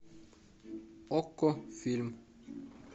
окко фильм